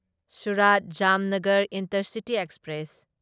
Surat Jamnagar Intercity express